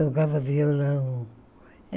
Tocava violão.